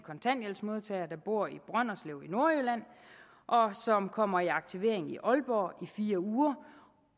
kontanthjælpsmodtager der bor i brønderslev i nordjylland og som kommer i aktivering i aalborg i fire uger